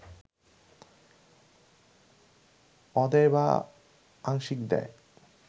অদেয় বা আংশিক দেয়